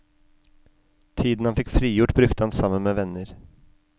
Tiden han fikk frigjort, brukte han sammen med venner.